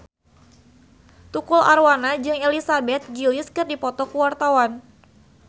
Tukul Arwana jeung Elizabeth Gillies keur dipoto ku wartawan